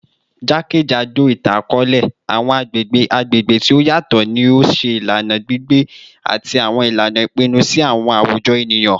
Jakejado itan-akọọlẹ, awọn agbegbe agbegbe ti o yatọ ni o ṣe ilana gbigbe ati awọn ilana ipinnu ti awọn awujọ eniyan.